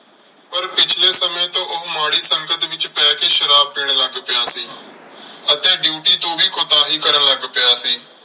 ਪਰ ਪਿਛਲੇ ਸਮੇਂ ਤੋਂ ਉਹ ਮਾੜੀ ਸੰਗਤ ਵਿੱਚ ਪੈ ਕੇ ਸ਼ਰਾਬ ਪੀਣ ਲੱਗ ਪਿਆ ਸੀ ਅਤੇ duty ਤੋਂ ਵੀ ਕੁਤਾਹੀ ਕਰਨ ਲੱਗ ਪਿਆ ਸੀ।